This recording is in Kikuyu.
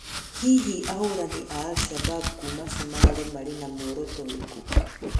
Hĩhĩ ahũranĩ a al-shabab kũma cũmarĩ marĩ na mũoroto ũrĩkũ